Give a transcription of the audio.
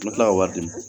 N bɛ tila ka wari di ma